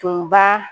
Tun ba